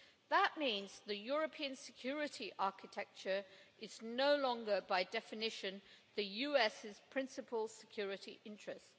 That means the European security architecture is no longer, by definition, the US's principal security interest.